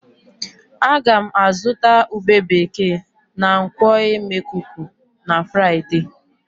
Ága m azụta ube bekee na nkwọ̀ e. Emekuku na Fraịde